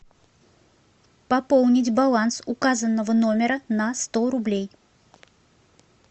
пополнить баланс указанного номера на сто рублей